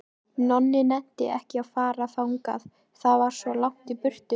Nonni nennti ekki að fara þangað, það var svo langt í burtu.